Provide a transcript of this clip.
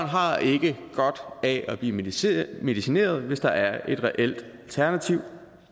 har ikke godt af at blive medicineret medicineret hvis der er et reelt alternativ